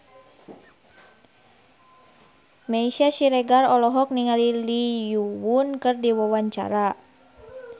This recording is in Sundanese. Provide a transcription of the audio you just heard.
Meisya Siregar olohok ningali Lee Yo Won keur diwawancara